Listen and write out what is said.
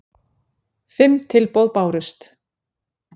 Fimm tilboð bárust